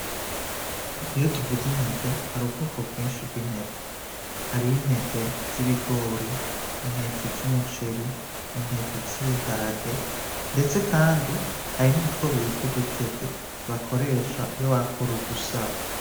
Iyo tuvuze intete hari ubwoko bwinshi bw'intete, intete z' umuceri, intete z' ibiharage, ndetse kandi hari nutwo bita udutete bakoresha iyo bakora udusaro.